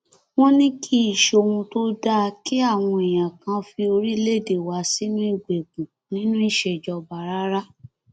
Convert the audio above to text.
wọn ní kì í ṣohun tó dáa kí àwọn èèyàn kàn fi orílẹèdè wa sínú ìgbèkùn nínú ìṣèjọba rárá